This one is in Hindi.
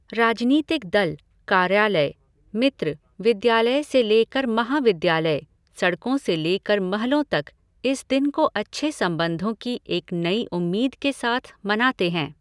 राजनीतिक दल, कार्यालय, मित्र, विद्यालय से लेकर महाविद्यालय, सड़कों से लेकर महलों तक इस दिन को अच्छे संबंधों की एक नई उम्मीद के साथ मनाते है।